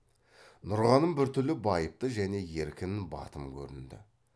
нұрғаным біртүрлі байыпты және еркін батым көрінді